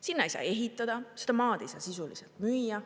Sinna ei saa ehitada, seda maad ei saa sisuliselt müüa.